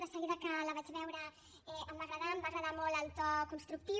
de seguida que la vaig veure em va agradar em va agradar molt el to constructiu